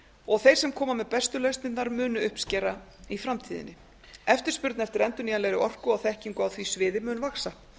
og þeir sem koma með bestu lausnirnar munu uppskera í framtíðinni eftirspurn eftir endurnýjanlegri orku og þekkingu á því sviði mun vaxa